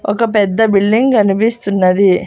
ఒక పెద్ద బిల్డింగ్ గనిపిస్తున్నది.